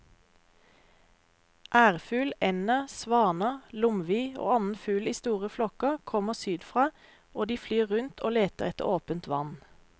Ærfugl, ender, svaner, lomvi og annen fugl i store flokker kommer sydfra og de flyr rundt og leter etter åpent vann.